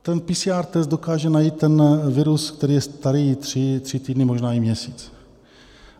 Ten PCR test dokáže najít ten virus, který je starý tři týdny, možná i měsíc.